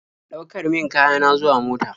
Ɗaukar min kaya na zuwa mota.